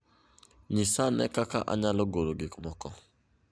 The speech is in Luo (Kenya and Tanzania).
Nyisa ane kaka anyalo golo gikmoko